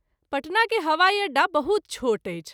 पटना के हवाई अड्डा बहुत छोट अछि।